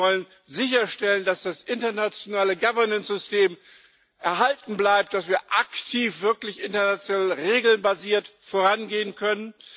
Wir wollen sicherstellen, dass das internationale Governancesystem erhalten bleibt, dass wir aktiv wirklich international regelbasiert vorangehen können.